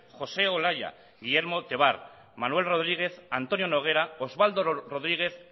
josé olaya guillermo tevar manuel rodríguez antonio noguera oswaldo rodríguez